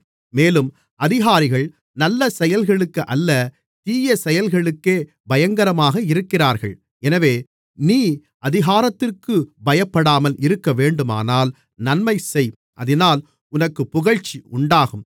மேலும் அதிகாரிகள் நல்ல செயல்களுக்கு அல்ல தீய செயல்களுக்கே பயங்கரமாக இருக்கிறார்கள் எனவே நீ அதிகாரத்திற்குப் பயப்படாமல் இருக்கவேண்டுமானால் நன்மைசெய் அதினால் உனக்குப் புகழ்ச்சி உண்டாகும்